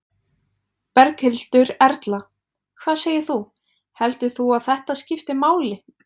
Berghildur Erla: Hvað segir þú, heldur þú að þetta skipti máli?